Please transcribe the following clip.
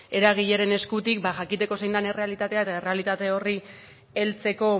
eragileren eskutik jakiteko zein den errealitatea eta errealitate horri heltzeko